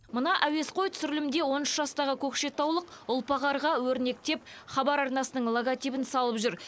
мына әуесқой түсірілімде он үш жастағы көкшетаулық ұлпа қарға өрнектеп хабар арнасының логотипін салып жүр